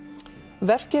verkið